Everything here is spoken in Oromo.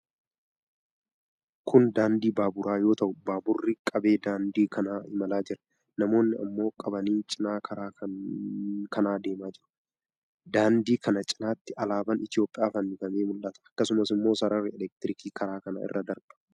Kun daandii baaburaa yoo ta'u, baaburri qabee daandii kana imalaa jira. Namoonni ammoo qabanii cinaa karaa kanaa deemaa jiru. Daandii kana cinaatti alaabaan Itoophiyaa fannifamee mul'ata. Akkasumas sararri elektirkii karaa kana irra darba.